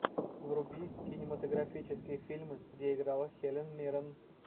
вруби кинематографические фильмы где играла хелен миррен